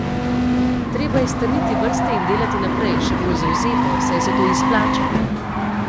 Treba je strniti vrste in delati naprej, še bolj zavzeto, saj se to izplača.